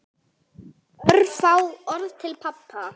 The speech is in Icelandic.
Örfá orð til pabba.